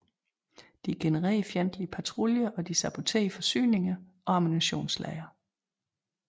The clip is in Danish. De generede fjendtlige patruljer og de saboterede forsyninger og ammunitionslagre